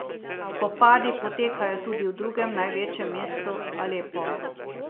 Spopadi potekajo tudi v drugem največjem mestu Alepo.